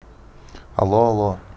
алло алло